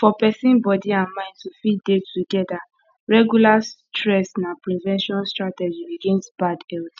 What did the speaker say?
for person body and mind to fit dey together regular stress na prevention strategy against bad health